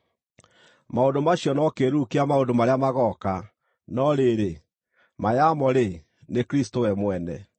Maũndũ macio no kĩĩruru kĩa maũndũ marĩa magooka; no rĩrĩ, ma yamo-rĩ, nĩ Kristũ we mwene.